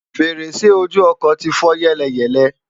fèrèsé ojú ọkọ̀ ti fọ́ yẹ́lẹyẹ̀lẹ